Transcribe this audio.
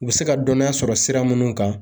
U bɛ se ka dɔnniya sɔrɔ sira minnu kan